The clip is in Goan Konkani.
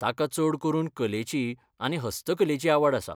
ताका चड करून कलेची आनी हस्तकलेची आवड आसा.